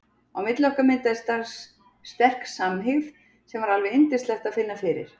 Á milli okkar myndaðist strax sterk samhygð sem var alveg yndislegt að finna fyrir.